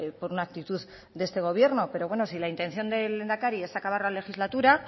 por una actitud de este gobierno pero bueno si la intención del lehendakari es acabar la legislatura